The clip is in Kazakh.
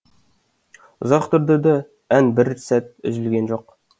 ұзақ тұрды ән бір сәт үзілген жоқ